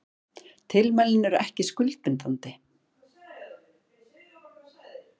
Tilmælin eru ekki skuldbindandi